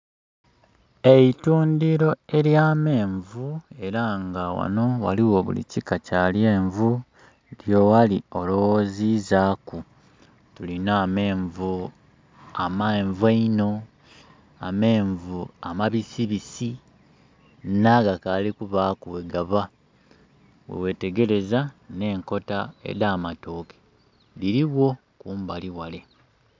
Eitundiro ely'amenvu era nga ghano waliwo buli kika kya lyenvu lye wali ologhozizaku. Tulina amenvu amenvu einho, amenvu amabisibisi n'agakaali kubaku bwegaba. Bwewetegereza n'enkota edh'amatooke dhirigho kumbali ghale.